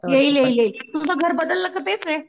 येईल येईल येईल तुमचं घर बदललं का तेच आहे?